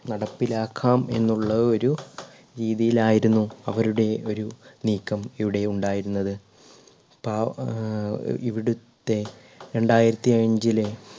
നടപ്പിലാക്കാം എന്നുള്ള ഒരു രീതിയിലായിരുന്നു അവരുടെ ഒരു നീക്കം ഇവിടെ ഉണ്ടായിരുന്നത് പാ ഏർ ഇവിടുത്തെ രണ്ടായിരത്തി അഞ്ചിലെ